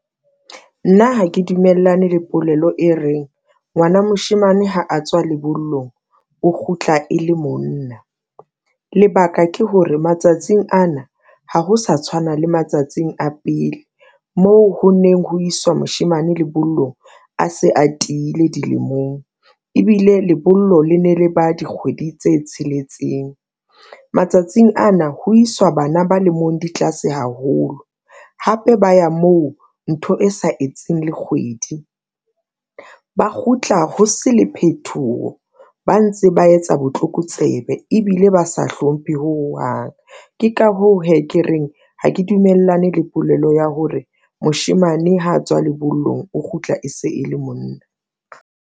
Nna ha ke dumellane le polelo e reng ngwana moshemane ha a tswa lebollong, o kgutla e le monna. Lebaka ke hore matsatsing ana, ha ho sa tshwana le matsatsing a pele o moo ho neng ho iswa moshemane lebollong a se a tiile dilemong, ebile lebollo le ne le ba dikgwedi tse tsheletseng matsatsing ana ho iswa bana ba lemong di tlase haholo, hape ba ya moo ntho e sa etseng le kgwedi. Ba kgutla ho se le phethoho, ba ntse ba etsa botlokotsebe ebile ba sa hlomphe hohang. Ke ka hoo hee ke reng ha ke dumellane le polelo ya hore moshemane ha a tswa lebollong, o kgutla e se e le monna.